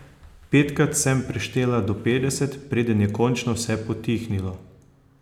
Petkrat sem preštela do petdeset, preden je končno vse potihnilo.